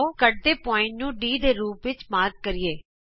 ਆਉ ਕਾਟਵੇਂ ਬਿੰਦੂ ਨੂੰ D ਦੇ ਰੂਪ ਵਿਚ ਚਿੰਨਿਤ ਕਰੀਏ